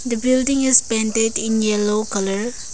The building is painted in yellow colour.